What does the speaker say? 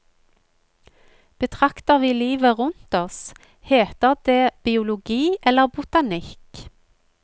Betrakter vi livet rundt oss, heter det biologi eller botanikk.